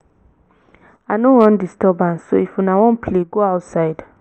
i no wan disturbance so if una wan play go outside